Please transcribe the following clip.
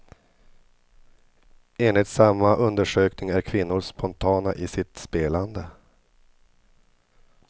Enligt samma undersökning är kvinnor spontana i sitt spelande.